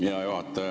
Hea juhataja!